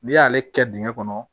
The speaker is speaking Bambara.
N'i y'ale kɛ dingɛn kɔnɔ